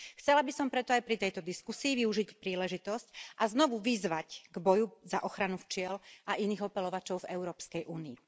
Chcela by som preto aj pri tejto diskusii využiť príležitosť a znovu vyzvať k boju za ochranu včiel a iných opeľovačov v Európskej únii.